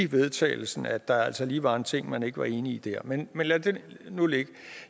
vedtagelse om at der altså lige var en ting men ikke var enig i der men lad det nu ligge